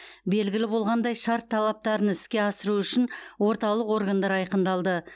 белгілі болғандай шарт талаптарын іске асыру үшін орталық органдар айқындалды